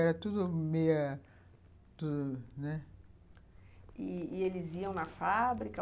Era tudo meio, tudo, né... E eles iam na fábrica?